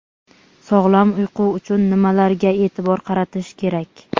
Sog‘lom uyqu uchun nimalarga e’tibor qaratish kerak?.